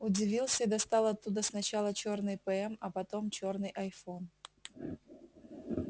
удивился и достал оттуда сначала чёрный пм а потом чёрный айфон